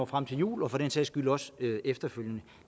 frem til jul og for den sags skyld også efterfølgende